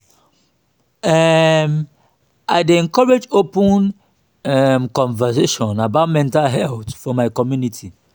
um i dey encourage open um conversations about mental health for my community.